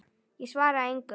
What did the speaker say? Ég svara engu.